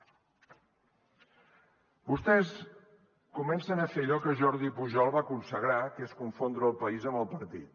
vostès comencen a fer allò que jordi pujol va consagrar que és confondre el país amb el partit